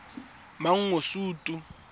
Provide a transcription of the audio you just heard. mangosuthu